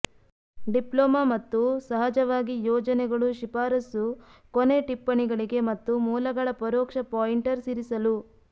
diploma ಮತ್ತು ಸಹಜವಾಗಿ ಯೋಜನೆಗಳು ಶಿಫಾರಸು ಕೊನೆಟಿಪ್ಪಣಿಗಳಿಗೆ ಮತ್ತು ಮೂಲಗಳ ಪರೋಕ್ಷ ಪಾಯಿಂಟರ್ಸ್ ಇರಿಸಲು